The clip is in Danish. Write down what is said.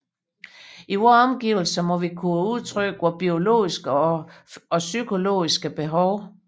I vores omgivelser må vi kunne udtrykke vore biologiske og psykologiske behov